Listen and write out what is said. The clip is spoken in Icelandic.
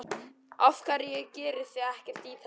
Af hverju gerið þið ekkert í þessu?